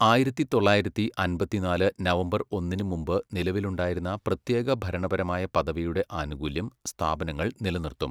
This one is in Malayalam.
ആയിരത്തി തൊള്ളായിരത്തി അമ്പത്തിനാല് നവംബർ ഒന്നിന് മുമ്പ് നിലവിലുണ്ടായിരുന്ന പ്രത്യേക ഭരണപരമായ പദവിയുടെ ആനുകൂല്യം, സ്ഥാപനങ്ങൾ നിലനിർത്തും.